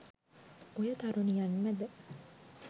ඔය තරුණියන් මැද